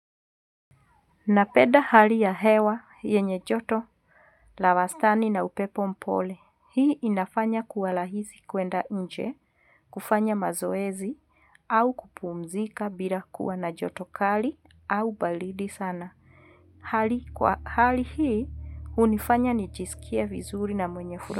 Napenda hali ya hewa yenye joto, la wastani na upepo mpole. Hii inafanya kuwa rahisi kuenda nje, kufanya mazoezi, au kupumzika bila kuwa na joto kali, au baridi sana. Hali hii, hunifanya nijisikie vizuri na mwenye furaha.